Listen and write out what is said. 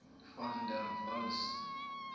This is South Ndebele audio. van der waals